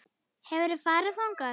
Hefurðu farið þangað?